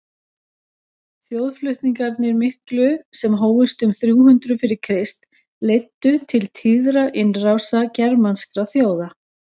þjóðflutningarnir miklu sem hófust um þrjú hundruð fyrir krist leiddu til tíðra innrása germanskra þjóða